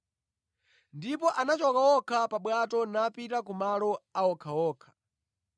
Ndipo anachoka okha pa bwato napita kumalo a okhaokha.